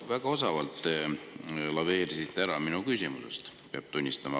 Te väga osavalt laveerisite minu küsimusest mööda, peab tunnistama.